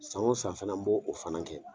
San wo san fana n b'o fana kɛ.